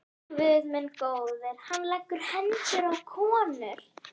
Ó, Guð minn góður, hann leggur hendur á konur.